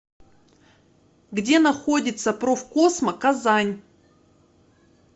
где находится профкосмо казань